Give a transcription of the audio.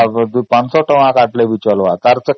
ଶହେ କଣ ୫୦୦ବି କାଟିବେ